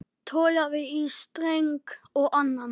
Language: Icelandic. Togaði í streng og annan.